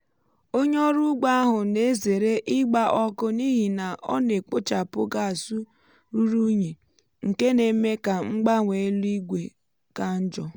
onye ọrụ ugbo ahụ na-ezere ịgba ọkụ n’ihi na ọ na ekpochapụ gas ruru unyi nke na-eme ka mgbanwe élú igwe um ka njọ.